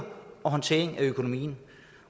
håndtering af økonomien